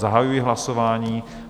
Zahajuji hlasování.